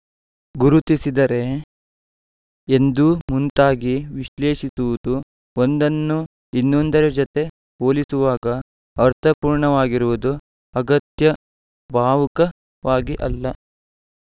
ಗುರುತಿಸಿದರೆ ಎಂದು ಮುಂತಾಗಿ ವಿಶ್ಲೇಷಿಸುವುದು ಒಂದನ್ನು ಇನ್ನೊಂದರ ಜತೆ ಹೋಲಿಸುವಾಗ ಅರ್ಥಪೂರ್ಣವಾಗಿರುವುದು ಅಗತ್ಯ ಭಾವುಕವಾಗಿ ಅಲ್ಲ